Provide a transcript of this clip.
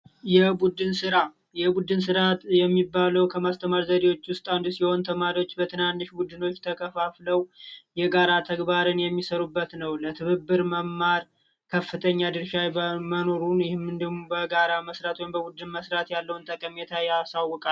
የቡድን ስራ፤ የቡድን ስራ የሚባለው ከማስተማር ዘዴዎች ውስጥ አንዱ ሲሆን ተማሪዎች በትናንሽ ቡድኖች ተከፋፍለው የጋራ ተግባርን የሚሰሩበት ነው ለትብብር መማር ከፍተኛ ድርሻ መኖሩን መስራት ወይም በቡድን መስራት ያለውን ጠቀሜታ ያሳውቃል።